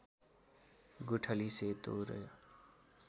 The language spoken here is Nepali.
गुठली सेतो र